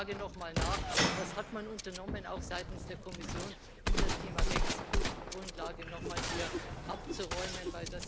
Daher frage ich noch mal nach Was hat man unternommen auch seitens der Kommission um das Thema Rechtsgrundlage noch mal hier abzuräumen?